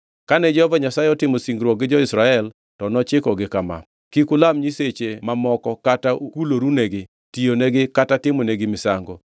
Kane Jehova Nyasaye otimo singruok gi jo-Israel, to nochikogi kama: “Kik ulam nyiseche mamoko kata kulorunegi, tiyonegi kata timonegi misango.